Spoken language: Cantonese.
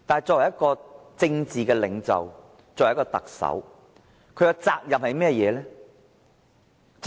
作為政治領袖，作為特首，他的責任是甚麼呢？